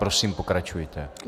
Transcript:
Prosím, pokračujte.